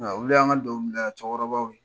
Nka olu y' an ka donkilidala cɛkɔrɔbaw ye.